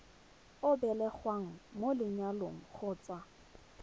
o belegweng mo lenyalong kgotsa